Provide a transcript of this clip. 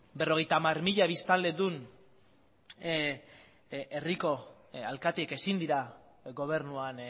berrogeita hamar mila biztanledun herriko alkateek ezin dira gobernuan